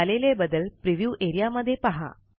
झालेले बदल प्रिव्ह्यू एरियामध्ये पहा